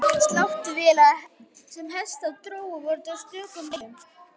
Sláttuvélar sem hestar drógu voru til á stöku bæjum.